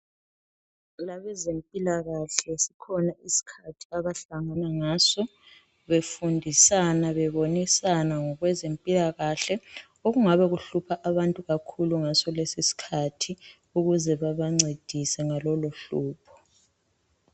Abezemphikalahle sikhona isikhathi abahlangana ngaso, befundisana, bebonisana ngokwezemphikahle, okungabe kuhlupha abantu kakhulu ngesoleso sikhathi, ukuze banancedise ngalolohlobo.